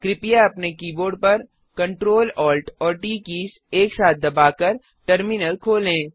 कृपया अपने कीबोर्ड पर Ctrl Alt और ट कीज़ एक साथ दबाकर टर्मिनल खोलें